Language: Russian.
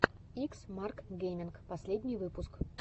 икс марк геминг последний выпуск